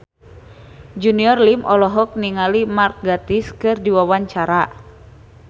Junior Liem olohok ningali Mark Gatiss keur diwawancara